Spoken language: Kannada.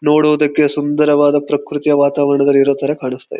ನೋಡೋದಕ್ಕೆ ಸುಂದರವಾದ ಪ್ರಕೃತಿಯ ವಾತಾವರಣದಲ್ಲಿ ಇರೋ ತರ ಕಾಣಿಸ್ತಾ ಇದೆ.